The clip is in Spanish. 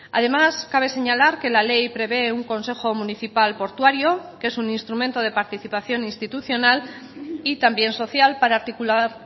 además cabe señalar que la ley prevé un consejo municipal portuario que es un instrumento de participación institucional y también social para articular